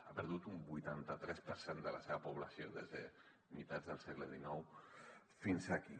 ha perdut un vuitanta tres per cent de la seva població des de meitat del segle xix fins aquí